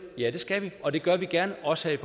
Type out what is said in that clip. ja det skal vi og det gør vi gerne også her